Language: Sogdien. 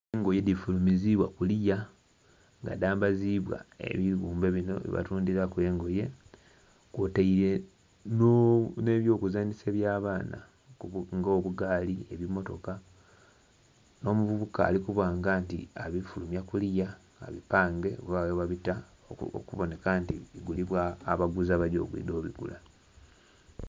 Engoye dhifulumiziibwa kuliya nga dhambaziibwa ebibumbe bino byebatundhilaku engoye, kwotaire nh'ebyokuzanhisa bya abaana, nga obugaali, ebimmotoka. Nh'omuvubuka ali kuba nga nti abifulumya kuliya, abipange, ghabagho ghebabita okuboneka nti bigulibwa abaguzi abagya okwidha obigula.